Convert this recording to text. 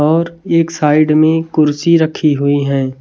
और एक साइड में कुर्सी रखी हुई है।